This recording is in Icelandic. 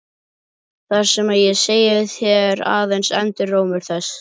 Það sem ég segi þér er aðeins endurómur þess.